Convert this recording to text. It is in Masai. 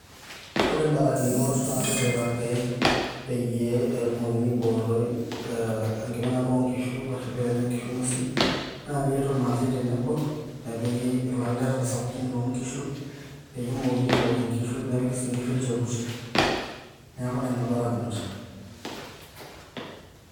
Ore barakinot naatipikaki peyie etumokini aibooroi engiminata oo nkishu ashu peenya inkishu ng'uesin naa keetuo irmaasae tenebo nepiki ilaleta sapuki loo nkishu peyie emookini aibooki inkishu nepiki sii inkishu ilnchokuti neaku Nena ibarakinot